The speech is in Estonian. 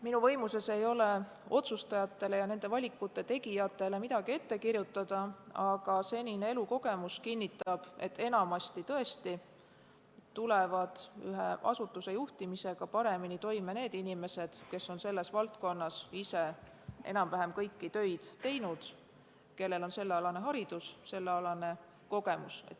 Minu võimuses ei ole otsustajatele ja nende valikute tegijatele midagi ette kirjutada, aga senine elukogemus kinnitab, et tõesti, enamasti tulevad asutuse juhtimisega paremini toime need inimesed, kes on selles valdkonnas ise enam-vähem kõiki töid teinud ning kellel on sellealane haridus ja sellealane kogemus.